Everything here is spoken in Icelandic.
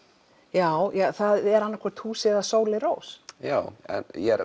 já það er annað hvort húsið eða Sóley Rós já en ég er